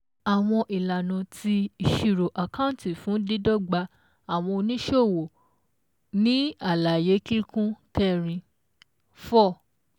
ÀWỌN ÌLÀNÀ TI ÌṢIRÒ ÀKÁNTÌ FÚN DÍDỌ́GBA ÀWỌN ONÍṢÒWÒ NÌ ÀLÀYÉ KÍKÚN KẸRIN four